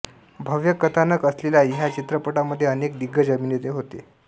भव्य कथानक असलेल्या ह्या चित्रपटामध्ये अनेक दिग्गज अभिनेते होते